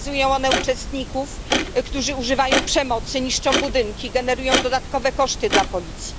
Pokazują one uczestników, którzy używają przemocy, niszczą budynki, generują dodatkowe koszty dla policji.